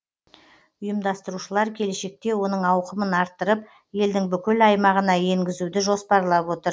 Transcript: ұйымдастырушылар келешекте оның ауқымын арттырып елдің бүкіл аймағына енгізуді жоспарлап отыр